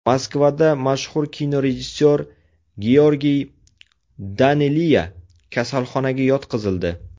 Moskvada mashhur kinorejissyor Georgiy Daneliya kasalxonaga yotqizildi.